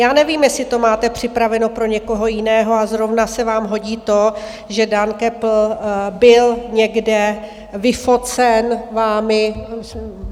Já nevím, jestli to máte připraveno pro někoho jiného, a zrovna se vám hodí to, že Dan Köppl byl někde vyfocen vámi.